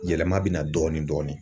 Yɛlɛma bɛ na dɔɔnin dɔɔnin.